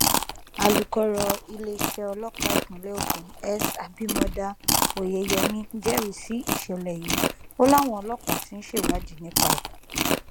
alūkọrọ iléeṣẹ ọlọpàá ìpínlẹ ogun s abimodá oyeyèmí jẹrìí sí ìṣẹlẹ yìí o láwọn ọlọpàá ti ń ṣèwádìí nípa ẹ